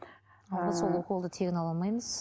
ыыы біз ол уколды тегін ала алмаймыз